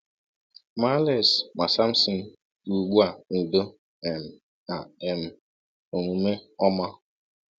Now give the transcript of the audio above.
Ma Alex ma Samson bi ugbu a n’udo um na um n’omume ọma.